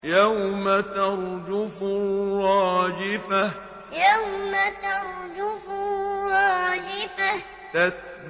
يَوْمَ تَرْجُفُ الرَّاجِفَةُ يَوْمَ تَرْجُفُ الرَّاجِفَةُ